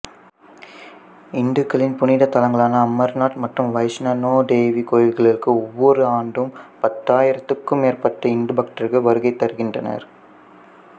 இந்துக்களின் புனித் தலங்களான அமர்நாத் மற்றும் வைஷ்ணனோ தேவி கோயில்களுக்கு ஒவ்வோர் ஆண்டும் பத்தாயிரத்திற்கும் மேற்பட்ட இந்து பக்தர்கள் வருகைதருகின்றனர்